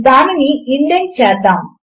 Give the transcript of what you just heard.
దానిని ఇండెంట్ చేద్దాము